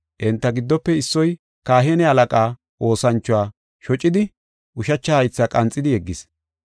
Enta giddofe issoy kahine halaqaa oosanchuwa shocidi ushacha haytha qanxidi yeggis.